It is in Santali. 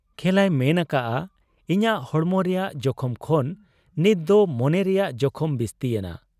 ᱠᱷᱮᱞᱟᱭ ᱢᱮᱱ ᱟᱠᱟᱜ ᱟ ᱤᱧᱟᱹᱜ ᱦᱚᱲᱢᱚ ᱨᱮᱭᱟᱝ ᱡᱚᱠᱷᱚᱢ ᱠᱷᱚᱱ ᱱᱤᱴ ᱫᱚ ᱢᱚᱱᱮ ᱨᱮᱭᱟᱜ ᱡᱚᱠᱷᱚᱢ ᱵᱤᱥᱛᱤ ᱮᱱᱟ ᱾